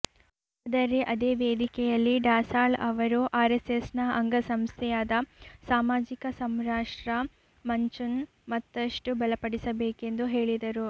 ಆದರೆ ಅದೇ ವೇದಿಕೆಯಲ್ಲಿ ಢಸಾಳ್ ಅವರು ಆರೆಸ್ಸೆಸ್ನ ಅಂಗ ಸಂಸ್ಥೆಯಾದ ಸಾಮಾಜಿಕ ಸಂರಾಷ್ಟ್ರ ಮಂಚ್ನ್ನು ಮತ್ತಷ್ಟು ಬಲಪಡಿಸಬೇಕೆಂದು ಹೇಳಿದರು